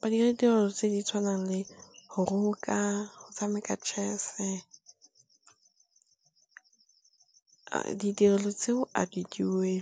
Ba dira ditirelo tse di tshwanang le go roka, go tshameka chess. Ditirelo tseo a di duelwe.